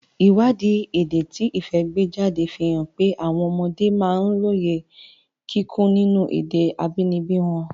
Ìwádìí èdè tí Ifẹ̀ gbé jáde fi hàn pé àwọn ọmọdé máa ń lóye kíkún nínú èdè abínibí wọn.